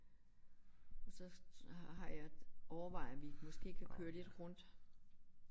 Og så har har jeg overvejer vi måske kan køre lidt rundt